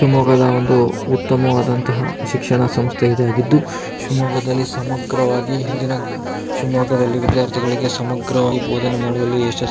ಶಿವಮೊಗ್ಗದ ಒಂದು ಉತ್ತಮವಾದಂತಹ ಶಿಕ್ಷಣ ಸಂಸ್ಥೆ ಇದಾಗಿದ್ದು ಶಿವಮೊಗ್ಗದಲ್ಲಿ ಸಮಗ್ರವಾಗಿ ಹಿಂದಿನ ಶಿವಮೊಗ್ಗದಲ್ಲಿ ವಿದ್ಯಾರ್ಥಿಗಳಿಗೆ ಸಮಗ್ರವಾಗಿ ಭೋದನೆ ಮಾಡುವಲ್ಲಿ ಯಶಸ್ವಿಯಾಗಿದೆ.